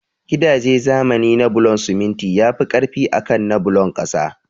Gidaje zamani na bulon siminti yafi ƙarfi akan na bulon ƙasa